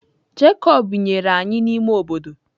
Jekọb binyere anyị n’ime obodo.